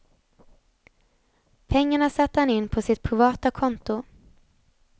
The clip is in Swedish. Pengarna satte han in på sitt privata konto.